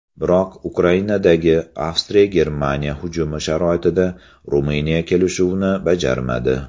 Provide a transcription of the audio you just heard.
Biroq Ukrainadagi AvstriyaGermaniya hujumi sharoitida Ruminiya kelishuvni bajarmadi.